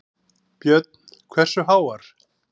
Björn: Hversu háar?